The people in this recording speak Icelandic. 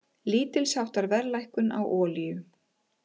Lítilsháttar verðlækkun á olíu